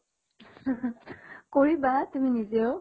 কৰিবা তুমি নিজেও